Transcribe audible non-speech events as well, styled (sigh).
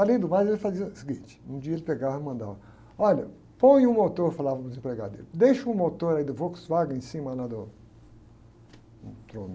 Além do mais, ele estava dizendo o seguinte, um dia ele pegava e mandava, olha, põe um motor, falavam os empregados, deixa um motor aí do Volkswagen em cima, né? Do, um (unintelligible)